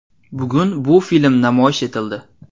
Bugun bu film namoyish etildi.